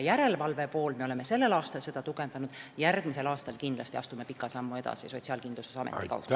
Me oleme sellel aastal tugevdanud ka järelevalve poolt ja astume järgmisel aastal kindlasti Sotsiaalkindlustusametiga pika sammu edasi.